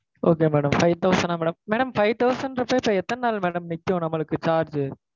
Okay madam five thousand ஆ madam? madam five thousand ன்றப்போ, இப்போ எத்தன நாள் madam நிக்கும் நம்மளுக்கு charge?